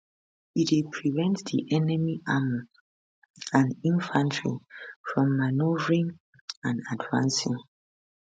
e dey prevent di enemy armour and infantry from manoeuvring and advancing